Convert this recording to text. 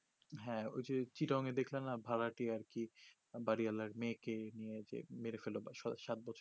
হ্যা ওই যে দেখলে না ভাড়াটে আর কি বাড়িওলার মেয়েকে নিয়ে যে মেরে ফেললো বা সাত বছর